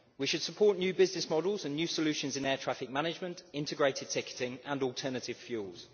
We should support new business models and new solutions in air traffic management, integrated ticketing and alternative fuels.